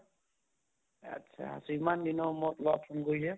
আত্চ্ছা ইমান দিনৰ মূৰত লগ phone কৰিছে?